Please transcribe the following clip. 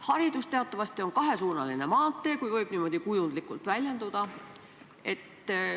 Haridus teatavasti on kahesuunaline maantee, kui võib niimoodi kujundlikult väljenduda.